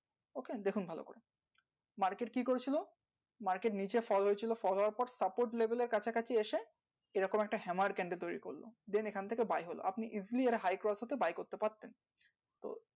okay দেখুন ভালো করে market কি করে ছিল market নিচে fall হয়ে ছিল fall হবার পর support label এর কাছাকাছি এসে এই রকম একটা hammer candle তৈরী করলো then এখান থেকে buy হলো আপনি easily এটা high cross হওয়াতে buy করতে পারতেন